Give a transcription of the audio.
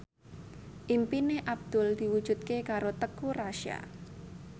impine Abdul diwujudke karo Teuku Rassya